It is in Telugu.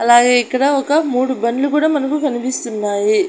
అలాగే ఇక్కడ ఒక మూడు బండ్లు కూడా మనకు కనిపిస్తున్నాయి.